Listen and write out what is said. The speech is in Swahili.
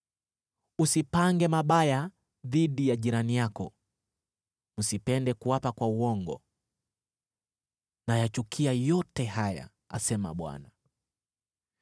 usipange mabaya dhidi ya jirani yako, wala msipende kuapa kwa uongo. Nayachukia yote haya,” asema Bwana .